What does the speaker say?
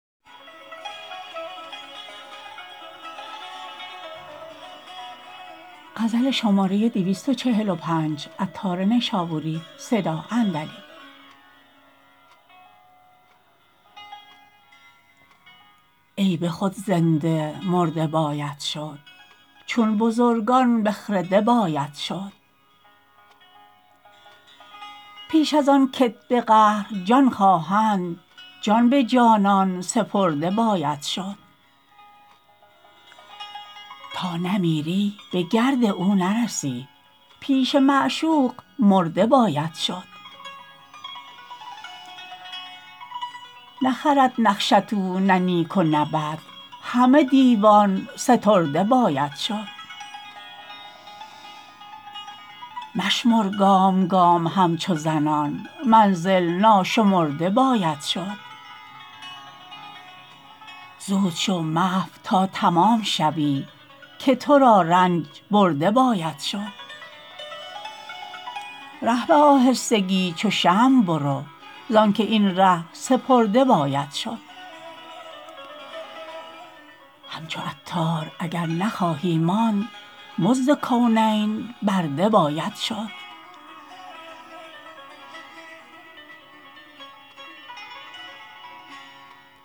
ای به خود زنده مرده باید شد چون بزرگان به خرده باید شد پیش از آن کت به قهر جان خواهند جان به جانان سپرده باید شد تا نمیری به گرد او نرسی پیش معشوق مرده باید شد نخرد نقشت او نه نیک و نه بد همه دیوان سترده باید شد مشمر گام گام همچو زنان منزل ناشمرده باید شد زود شو محو تا تمام شوی که تو را رنج برده باید شد ره به آهستگی چو شمع برو زانکه این ره سپرده باید شد همچو عطار اگر نخواهی ماند نرد کونین برده باید شد